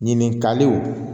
Ɲininkaliw